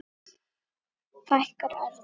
Fækkar orðum?